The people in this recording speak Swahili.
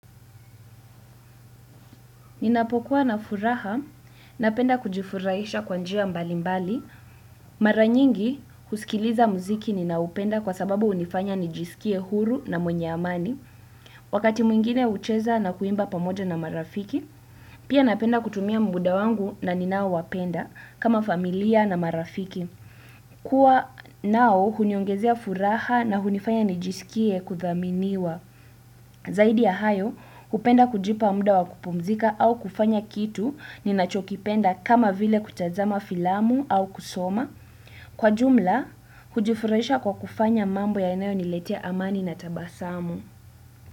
Ninapokuwa na furaha, napenda kujifurahisha kwa njia mbalimbali. Mara nyingi, huskiliza muziki ninaoupenda kwa sababu hunifanya nijisikie huru na mwenye amani. Wakati mwingine hucheza na kuimba pamoja na marafiki, pia napenda kutumia muda wangu na ninao wapenda, kama familia na marafiki. Kuww nao huniongezea furaha na hunifanya nijisikie kudhaminiwa. Zaidi ya hayo, hupenda kujipa muda wa kupumzika au kufanya kitu ninachokipenda kama vile kutazama filamu au kusoma. Kwa jumla, hujifurahisha kwa kufanya mambo yanayo niletia amani na tabasamu.